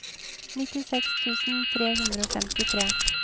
nittiseks tusen tre hundre og femtitre